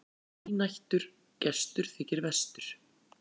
Þrínættur gestur þykir verstur.